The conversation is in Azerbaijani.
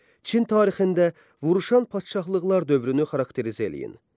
Çin tarixində vuruşan padşahlıqlar dövrünü xarakterizə eləyin.